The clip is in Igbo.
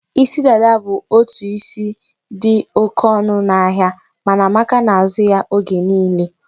Isi dada bụ otu isi dị oke ọnụ n'ahịa, mana Amaka na-azụ ya oge niile.